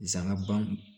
Zanna ban